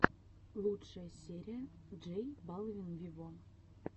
лучшая серия джей балвин виво